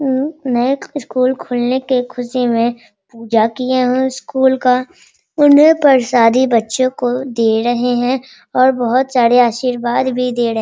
उम नई स्कूल खुलने के ख़ुशी में पूजा किये हुए है स्कूल का उन्हें प्रसादी बच्चे को दे रहे हैं और बहुत सारे आशीर्वाद भी दे रहे --